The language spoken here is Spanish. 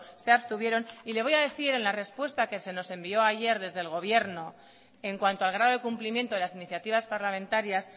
se abstuvieron y le voy a decir en la respuesta que se nos envió ayer desde el gobierno en cuanto al grado de cumplimiento de las iniciativas parlamentarias